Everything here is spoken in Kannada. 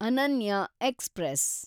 ಅನನ್ಯ ಎಕ್ಸ್‌ಪ್ರೆಸ್